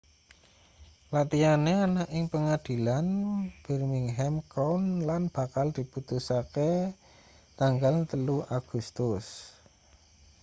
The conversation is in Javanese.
latihane ana ing pengadilan birmingham crown lan bakal diputuske tanggal 3 agustus